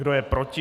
Kdo je proti?